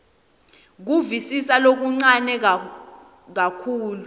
kuvisisa lokuncane kakhulu